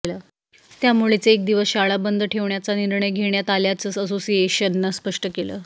त्यामुळेच एक दिवस शाळा बंद ठेवण्याचा निर्णय घेण्यात आल्याचं असोसिएशननं स्पष्ट केलं